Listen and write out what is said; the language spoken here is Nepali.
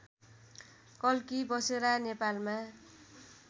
कल्की बसेरा नेपालमा